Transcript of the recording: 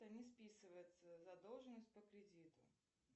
не списывается задолженность по кредиту